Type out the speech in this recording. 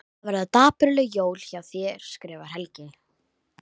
Það verða dapurleg jól hjá þér skrifar Helgi.